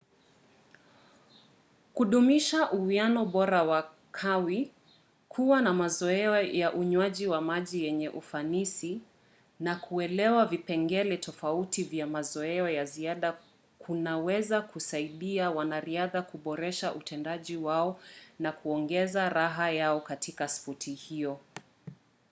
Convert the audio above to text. kudumisha uwiano bora wa kawi kuwa na mazoea ya unywaji wa maji yenye ufanisi na kuelewa vipengele tofauti vya mazoea ya ziada kunaweza kusaidia wanariadha kuboresha utendaji wao na kuongeza raha yao katika spoti hiyo